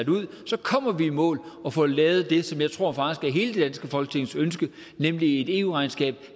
kommer vi i mål og får lavet det som jeg faktisk tror er hele det danske folketings ønske nemlig et eu regnskab